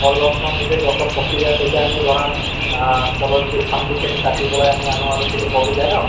কল গছ খন নিজে গছত পকি যায় তেতিয়া আমি ধৰা আহ কলৰ যিটো সেইটো কাটি পেলাই আমি আনো আৰু সেই পকি যায় ন